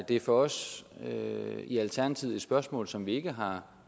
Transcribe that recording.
det er for os i alternativet et spørgsmål som vi ikke har